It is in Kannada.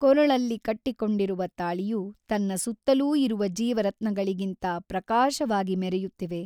ಕೊರಳಲ್ಲಿ ಕಟ್ಟಿಕೊಂಡಿರುವ ತಾಳಿಯು ತನ್ನ ಸುತ್ತಲೂ ಇರುವ ಜೀವರತ್ನಗಳಿಗಿಂತ ಪ್ರಕಾಶವಾಗಿ ಮೆರೆಯುತ್ತಿವೆ.